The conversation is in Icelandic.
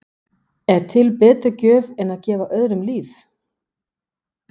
Er til betri gjöf en að gefa öðrum líf?